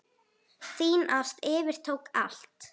Þín ást yfirtók allt.